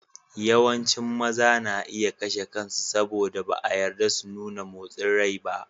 Yawancin maza na iya kashe kansu saboda ba a yarda su nuna motsin rai ba.